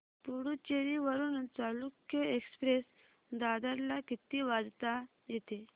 पुडूचेरी वरून चालुक्य एक्सप्रेस दादर ला किती वाजता येते